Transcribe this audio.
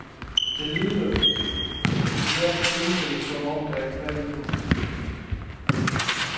Det lyder i hvert tilfælde, som om der er knald på.